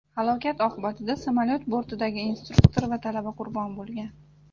Halokat oqibatida samolyot bortidagi instruktor va talaba qurbon bo‘lgan.